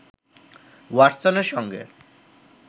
ওয়াটসনের সঙ্গে